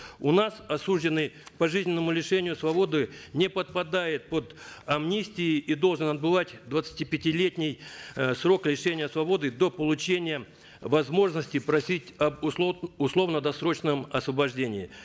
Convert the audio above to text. у нас осужденный к пожизненному лишению свободы не подпадает под амнистии и должен отбывать двадцатипятилетний э срок лишения свободы до получения возможности просить об условно досрочном освобождении